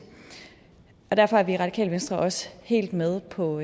derfor er vi i radikale venstre også helt med på